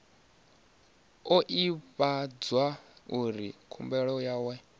o ivhadzwa uri khumbelo yawe